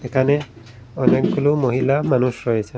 এখানে অনেকগুলো মহিলা মানুষ রয়েছেন।